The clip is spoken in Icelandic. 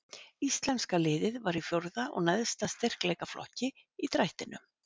Íslenska liðið var í fjórða og neðsta styrkleikaflokki í drættinum.